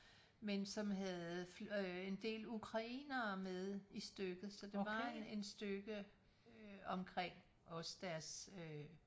Men som havde øh en del ukrainere med i stykket så der var en en stykke øh omkring også deres øh